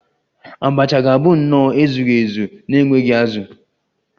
Abacha ga-abụ nnọọ ezughị ezu na-enweghị azụ